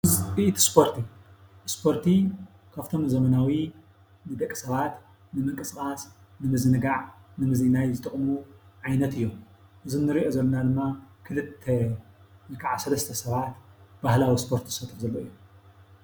ውፅኢት እስፖርቲ :-እስፖርቲ ካፍቶም ዘመናዊ ንደቂ ሰባት ንምንቅስቓስ፣ ንምዝንጋዕ፣ ንምዝንናይ ዝጠቕሙ ዓይነት እዮም። እዞም እንሪኦም ዘለና ድማ ክልተ ወይ ክዓ ሰለስተ ሰባት ባህላዊ እስፖርቲ ዝሰርሑ ዘለዉ እዮም።